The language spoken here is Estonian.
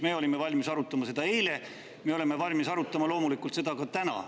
Me olime valmis arutama seda eile, me oleme valmis arutama seda loomulikult ka täna.